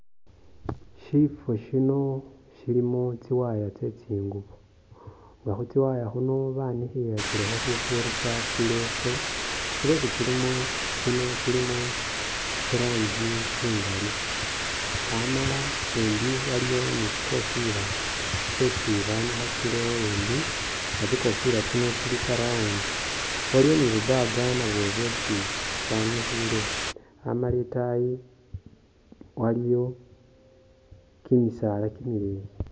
Shifo shino shilimo tsi wire tse tsingubo nga khu tsi wire khuno banikhilakilekho khufurisa tsileso tsileso tsino tsilimo tsiranji tsingali amala embi waliwo ni tsi kofila tsesi banikhakilewo embi nga tsikofila tsino tsili tsa round waliwo ni bu’bag nabwo bwesi banikhile amala itayi waliwo kimosala kimileyi.